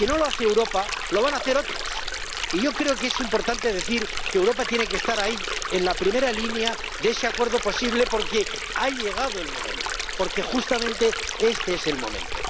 Si no lo hace Europa, lo van a hacer otros, y yo creo que es importante decir que Europa tiene que estar ahí, en la primera línea de ese acuerdo posible porque ha llegado el momento, porque justamente este es el momento.